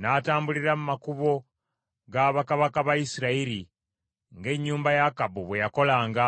N’atambulira mu makubo ga bakabaka ba Isirayiri, ng’ennyumba ya Akabu bwe yakolanga,